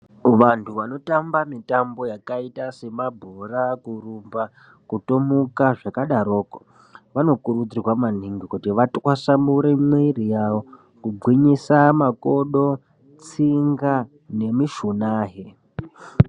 Vantu vanotamba mitambo yakaita semabhora ,kurumba kutomuka zvakadaroko vanokurudzirwa maningi kuti vatwasanure mwiiri yavo kugwinyisa makodo ,tsinga nemushunahe.